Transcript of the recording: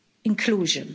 inclusion